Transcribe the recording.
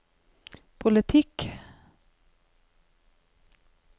politikk